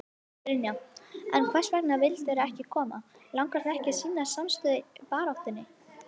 Brynja: En hvers vegna vildirðu ekki koma, langar þig ekki að sýna samstöðu í baráttunni?